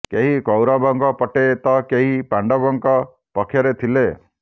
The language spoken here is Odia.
କେହି କୌରବଙ୍କ ପଟେ ତ କେହି ପାଣ୍ଡବଙ୍କ ପକ୍ଷରେ ଥିଲେ